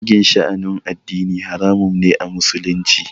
Zagin sha'anin addini haramun ne a musulunci